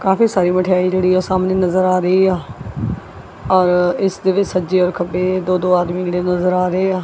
ਕਾਫੀ ਸਾਰੀ ਮਠਿਆਈ ਜਿਹੜੀ ਸਾਹਮਣੇ ਨਜ਼ਰ ਆ ਰਹੀ ਆ ਔਰ ਇਸ ਦੇ ਵਿੱਚ ਸੱਜੇ ਔਰ ਖੱਬੇ ਦੋ ਦੋ ਆਦਮੀ ਜਿਹੜੇ ਨਜ਼ਰ ਆ ਰਹੇ ਆ।